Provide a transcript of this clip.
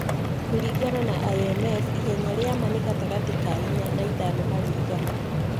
Kũringana na IMF, ihenya rĩa ma nĩ gatagatĩ ka inya na ithano harĩ igana.